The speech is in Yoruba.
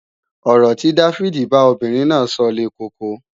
Ọ̀rọ̀ tí Dáfídì bá obìnrin náà sọ le koko